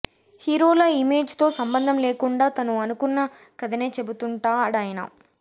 హీరోల ఇమేజ్ తో సంబధం లేకుండా తను అనుకున్న కధనే చెబుతుంటాడాయన